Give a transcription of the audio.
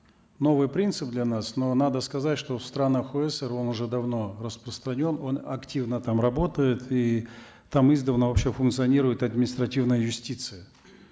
новый принцип для нас но надо сказать что в странах он уже давно распространен он активно там работает и там издавна вообще функционирует административная юстиция